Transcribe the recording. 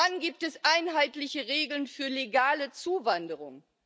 Wann gibt es einheitliche Regeln für legale Zuwanderung?